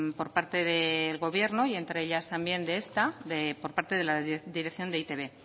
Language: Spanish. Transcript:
por parte del gobierno y entre ellas también de esta por parte de la dirección de e i te be